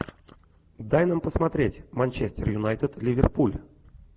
дай нам посмотреть манчестер юнайтед ливерпуль